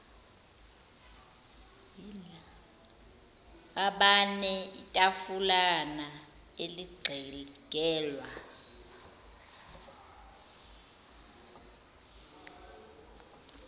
abane itafulana elixegelwa